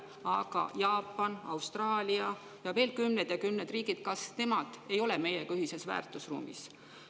Aga Jaapan, Austraalia ja veel kümned ja kümned riigid – kas nemad ei ole meiega ühises väärtusruumis?